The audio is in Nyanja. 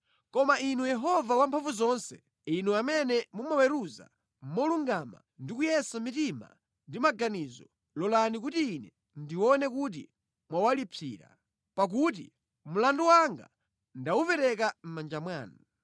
Koma, Inu Yehova Wamphamvuzonse, Inu amene mumaweruza molungama ndi kuyesa mitima ndi maganizo, lolani kuti ine ndione kuti mwawalipsira, pakuti mlandu wanga ndawupereka mʼmanja mwanu.